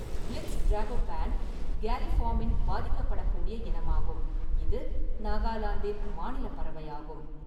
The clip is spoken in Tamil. பிளித்ஸ் டிராகோபன், கேலிஃபார்மின் பாதிக்கப்படக்கூடிய இனமாகும், இது நாகாலாந்தின் மாநில பறவையாகும்.